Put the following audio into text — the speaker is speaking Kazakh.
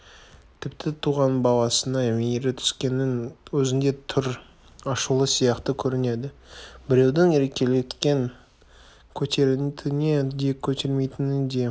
тіпті туған баласына мейірі түскеннің өзінде түр ашулы сияқты көрінеді біреудің еркелеткенін көтеретіні де көтермейтіні де